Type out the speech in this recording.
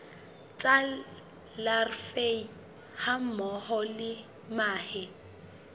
tsa larvae hammoho le mahe